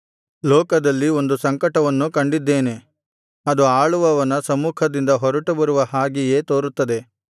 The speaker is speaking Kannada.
ಲೋಕದಲ್ಲಿ ಒಂದು ಸಂಕಟವನ್ನು ಕಂಡಿದ್ದೇನೆ ಅದು ಆಳುವವನ ಸಮ್ಮುಖದಿಂದ ಹೊರಟುಬರುವ ಹಾಗೆಯೇ ತೋರುತ್ತದೆ